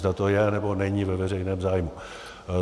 Zda to je, nebo není ve veřejném zájmu.